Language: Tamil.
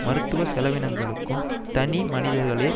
மருத்துவ செலவினங்களுக்கும் தனி மனிதர்களே